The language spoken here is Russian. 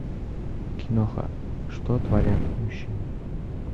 киноха что творят мужчины